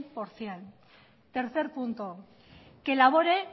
por ciento tercer punto que elabore